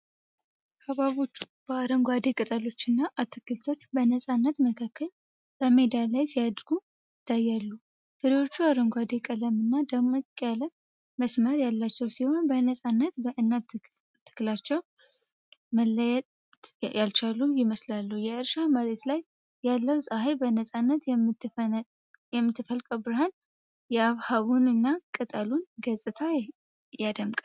ሐብሐቦች በአረንጓዴ ቅጠሎችና አትክልቶች በነፃነት መካከል በሜዳ ላይ ሲያድጉ ይታያሉ። ፍሬዎቹ አረንጓዴ ቀለምና ደመቅ ያለ መስመር ያላቸው ሲሆኑ በነፃነት ከእናት ተክላቸው መለየት ያልቻሉ ይመስላሉ::የእርሻ መሬት ላይ ያለው ፀሐይ በነፃነት የምትፈልቀው ብርሃን የሐብሐቡንና ቅጠሉን ገፅታ ያደምቃል።